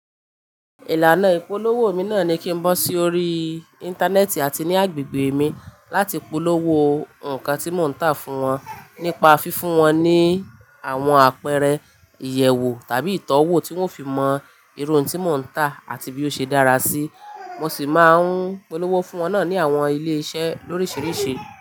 Ìlànà ìpolówó mi náà ni kí n bọ́ sí orí Íńtánẹ́ẹ̀tì àti ní agbègbè mi láti polówó nǹkan tí mò ń tà fún wọn nípa fífún wọn ní àwọn àpẹẹrẹ, ìyẹ̀wo tàbí ìtọ́wò tí wọ́n ó fi mọ irun tí mò ń tà àti bí ó ṣe dára sí. Mo sì máa ń polówó fún wọn náà ní àwọn ilé iṣẹ́ lóríṣiríṣi.